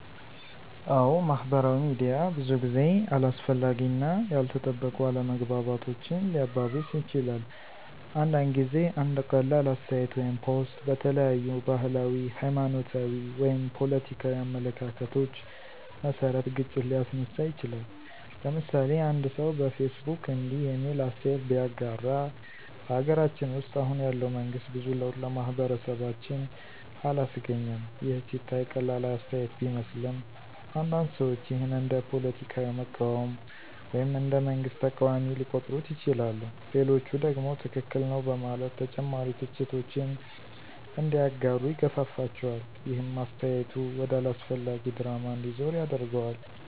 አዎ፣ ማህበራዊ ሚዲያ ብዙ ጊዜ አላስፈላጊ እና ያልተጠበቁ አለመግባባቶችን ሊያባብስ ይችላል። አንዳንድ ጊዜ አንድ ቀላል አስተያየት ወይም ፖስት በተለያዩ ባህላዊ፣ ሃይማኖታዊ ወይም ፖለቲካዊ አመለካከቶች መሰረት ግጭት ሊያስነሳ ይችላል። ለምሳሌ፦ አንድ ሰው በፌስቡክ እንዲህ የሚል አስተያየት ቢያጋራ። " በሀገራችን ውስጥ አሁን ያለው መንግስት ብዙ ለውጥ ለማህበረሰባችን አላስገኘም " ይህ ሲታይ ቀላል አስተያየት ቢመስልም፣ አንዳንድ ሰዎች ይህን እንደ ፖለቲካ መቃወም ወይም እንደ መንግስት ተቃዋሚ ሊቆጥሩት ይችላሉ። ሌሎቹ ደግሞ ትክክል ነው በማለት ተጨማሪ ትችቶችን እንዲያጋሩ ይገፋፋቸዋል። ይህም አስተያየቱ ወደ አላስፈላጊ ድራማ እንዲዞር ያደርገዋል።